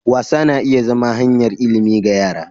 Wasa na iya zama hanyar ilimi ga yara.